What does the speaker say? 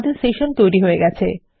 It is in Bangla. আমাদের সেশন তৈরী হয়ে গেছে